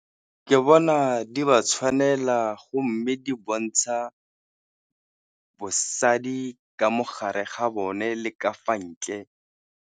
Ke bona di ba tshwanela go mme di bontsha bosadi ka mogare ga bone le ka fa ntle.